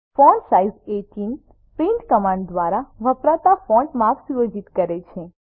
font size 18 print command દ્વારા વપરાતા ફોન્ટનું માપ સુયોજિત કરે છે